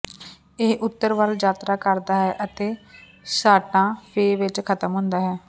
ਇਹ ਉੱਤਰ ਵੱਲ ਯਾਤਰਾ ਕਰਦਾ ਹੈ ਅਤੇ ਸਾਂਟਾ ਫੇ ਵਿੱਚ ਖਤਮ ਹੁੰਦਾ ਹੈ